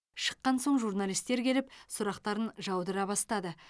шыққан соң журналистер келіп сұрақтарын жаудыра бастады